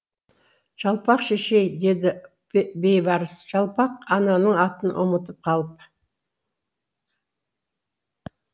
жалпақ шешей деді бейбарс жалпақ ананың атын ұмытып қалып